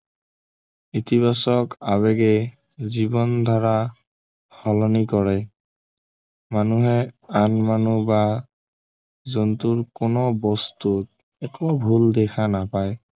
ইতিবাচক আৱেগে জীৱনধাৰা সলনি কৰে মানুহে আন মানুহ বা জন্তুৰ কোনো বস্তুত একো ভূল দেখা নাপায়